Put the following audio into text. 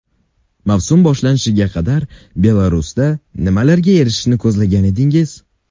Mavsum boshlanishiga qadar Belarusda nimalarga erishishni ko‘zlagan edingiz?